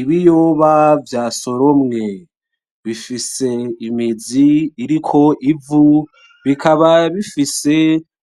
Ibiyoba vya soromwe ,bifise imizi ikiriko ivu, bikaba bifise